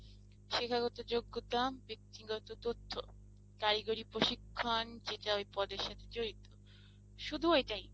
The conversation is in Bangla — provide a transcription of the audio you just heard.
শিক্ষাগত যোগ্যতা, ব্যাক্তিগত তথ্য, কারিগরি প্রশিক্ষণ যেটা ওই পদের সাথে জড়িত শুধু ওইটাই।